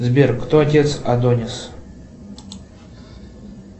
сбер кто отец адонис